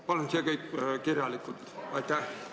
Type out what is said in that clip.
Palun see kõik kirjalikult esitada!